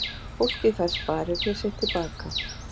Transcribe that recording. Fólkið fær sparifé sitt til baka